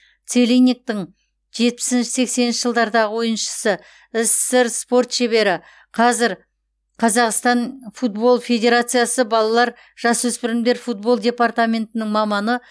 целинниктің жетпісінші сексенінші жылдарда ойыншысы ссср спорт шебері қазір қазақстан футбол федерациясы балалар жасөспірімдер футбол департаментінің маманы